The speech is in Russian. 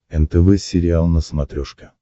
нтв сериал на смотрешке